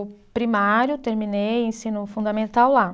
Primário terminei ensino fundamental lá.